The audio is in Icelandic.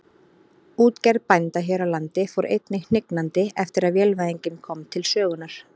Útgerð bænda hér á landi fór einnig hnignandi eftir að vélvæðingin kom til sögunnar.